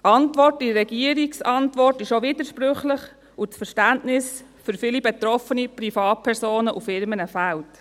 Die Antwort in der Regierungsantwort ist widersprüchlich, und das Verständnis für viele betroffene Privatpersonen und Firmen fehlt.